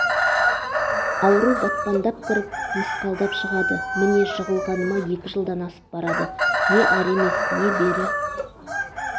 ауру батпандап кіріп мысқалдап шығады мне жығылғаныма екі жылдан асып барады не ары емес не бері